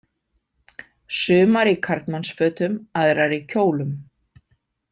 Sumar í karlmannsfötum, aðrar í kjólum.